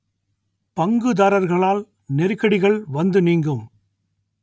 பங்குதாரர்களால் நெருக்கடிகள் வந்து நீங்கும்